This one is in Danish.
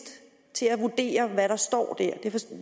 til at vurdere hvad der står der